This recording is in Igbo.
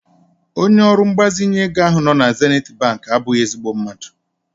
Onye ọrụ mgbazinye ego ahụ nọ na Zenith bank abụghị ezigbo mmadụ.